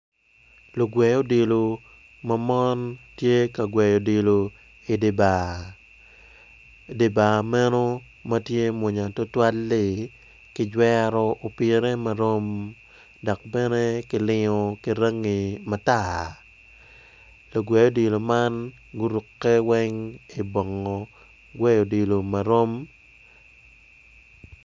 Lugwe odilo ma mon gitye ka gweyo odilo i dye bar, dye bar meno ma tye mwonya tutwalli kijwero opire marom dok bene kilingo ki rangi matar lugwe odilo man weng guruko bongo gweyo odilo marom.